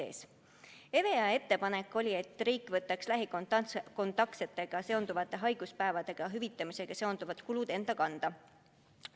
EVEA ettepanek oli, et riik võtaks lähikontaktsetega seonduvate haiguspäevade hüvitamisega seonduvad kulud enda kanda.